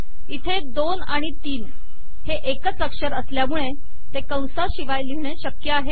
इथे दोन आणि तीन हे एकच अक्षर असल्यामुळे ते कंसाशिवाय लिहिणे शक्य आहे